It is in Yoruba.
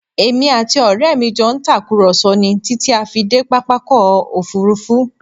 Èmi àti ọrẹ mi jọ ń tàkùrọ̀sọ ni títí ti a fi dé pápákọ̀ Òfurufú